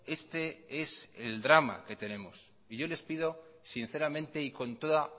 este es el drama que tenemos y yo les pido sinceramente y con toda